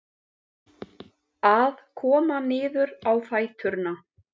Að koma niður á fæturna